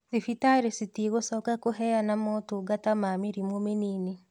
Thibitarĩ citigũcoka kũheana motungata ma mĩrimũ mĩnini